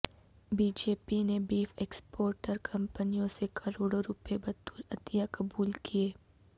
be J P نےبیف exporter کمپنیوں سےکروڑوں روپئے بطورعطیہ قبول کئے